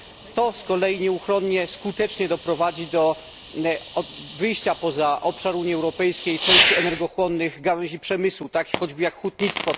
To z kolei nieuchronnie skutecznie doprowadzi do wyjścia poza obszar Unii Europejskiej części energochłonnych gałęzi przemysłu, takich chociażby jak hutnictwo.